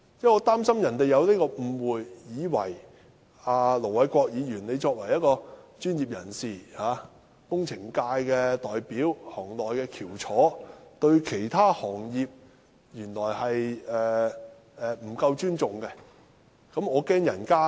我擔心他們有所誤會，以為盧偉國議員作為專業人士、工程界代表、行內的翹楚，對其他行業不夠尊重。